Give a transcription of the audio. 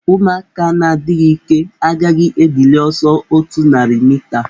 Ụmụaka na-adịghị ike agaghị edili ọsọ otu narị mita.